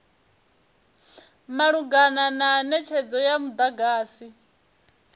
malugana na netshedzo ya mudagasi